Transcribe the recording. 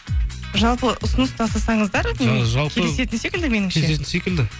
жалпы ұсыныс тастасаңыздар келісетін секілді